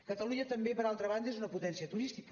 catalunya també per altra banda és una potència turística